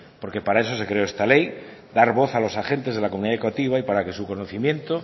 porque para eso se creó esta ley dar voz a los agentes de la comunidad educativa y para que su conocimiento